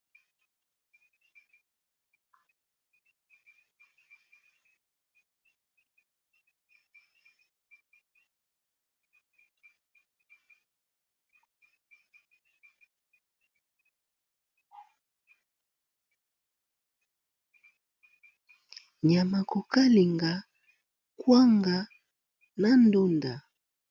Nyama kokalinga kwanga na ndunda.